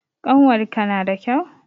Ƙanwarka nada kyau?